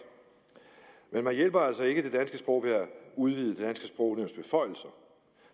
men man hjælper altså ikke det danske sprog ved at udvide det